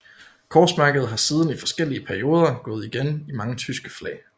Korsmærket har siden i forskellige perioder gået igen i mange tyske flag